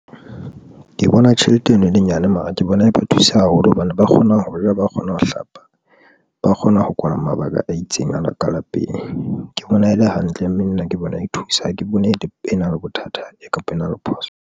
Ke bona tjhelete eno e le nyane. Mara ke bona e ba thusa haholo hobane ba kgona ho ja, ba kgona ho hlapa, ba kgona ho kwala mabaka a itseng ana ka lapeng. Ke bona e le hantle mme nna ke bona e thusa ha ke bone e na le bothata, kapa e na le phoso.